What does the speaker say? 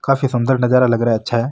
काफी सुन्दर नजारा लग रहा है अच्छा है।